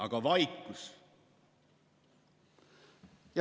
Aga on vaikus.